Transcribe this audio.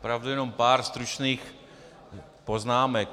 Opravdu jenom pár stručných poznámek.